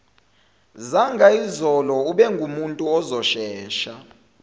zangayizolo ubengumuntu ozoshesha